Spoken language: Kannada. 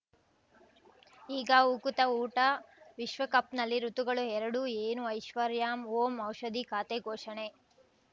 ಈಗ ಉಕುತ ಊಟ ವಿಶ್ವಕಪ್‌ನಲ್ಲಿ ಋತುಗಳು ಎರಡು ಏನು ಐಶ್ವರ್ಯಾ ಓಂ ಔಷಧಿ ಖಾತೆ ಘೋಷಣೆ